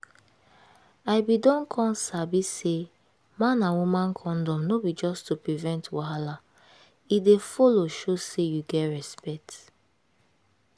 i been don come sabi say man and woman condom no be just to prevent wahala e dey follow show say you get respect